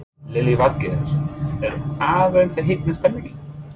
Lillý Valgerður: Er aðeins að hitna stemningin?